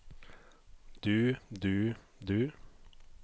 du du du